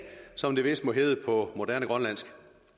som det vist må hedde på moderne grønlandsk